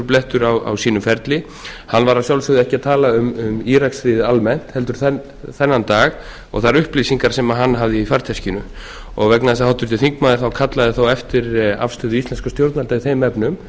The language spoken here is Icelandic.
blettur á sínum ferli hann var að sjálfsögðu ekki að tala um íraksstríðið almennt heldur þennan dag og þær upplýsingar sem hann hafði í farteskinu vegna þess að háttvirtur þingmaður kallaði þá eftir afstöðu íslenskra stjórnvalda í þeim efnum